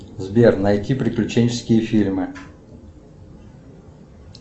сбер найти приключенческие фильмы